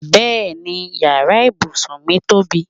Bẹ́ẹ̀ni yàrá ibùsùn mí tóbi